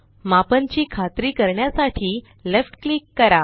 मापन ची खात्री करण्यासाठी लेफ्ट क्लिक करा